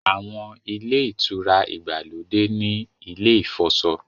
Àwọn Ilé-ìtura ìgbàlódé ní ilè ifọṣọ.